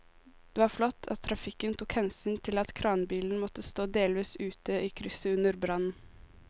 Det var flott at trafikken tok hensyn til at kranbilen måtte stå delvis ute i krysset under brannen.